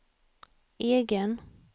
egen